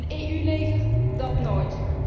Een EU leger, dat nooit!